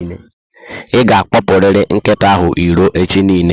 I ga akpopuriri nkịta ahụ irò echi niile